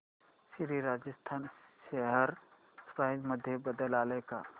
Shri Rajasthan share price मध्ये बदल आलाय का